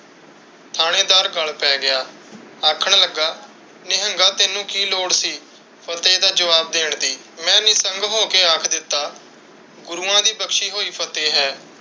ਥਾਣੇਦਾਰ ਗੱਲ ਪੈ ਗਿਆ। ਆਖਣ ਲੱਗਾ ਨਿਹੰਗਾ ਤੈਨੂੰ ਕਿ ਲੋੜ ਸੀ ਫਤਿਹ ਦਾ ਜਵਾਬ ਦੇਣ ਦੀ? ਮੈਂ ਹੋ ਕ ਅੱਖ ਦਿੱਤਾ ਰੂਹਾਂ ਦੀ ਬਖਸ਼ੀ ਹੁਈ ਫਤਿਹ ਹੈ